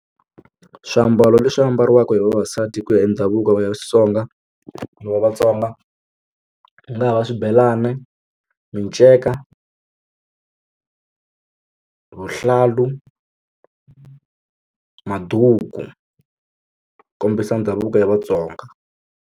Swiambalo leswi ambariwaka hi vavasati ku ya hi ndhavuko ya Xitsonga wa Vatsonga ku nga ha va swibelani miceka vuhlalu maduku kombisa ndhavuko ya Vatsonga.